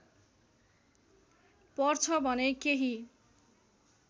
पर्छ भने केही